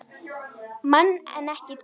Mann en ekki dýr.